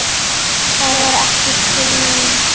Það var ekki til neins.